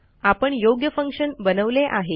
आपण योग्य फंक्शन बनवले आहे